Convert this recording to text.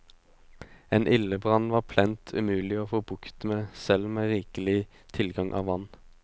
En ildebrann var plent umulig å få bukt med selv med rikelig tilgang av vann.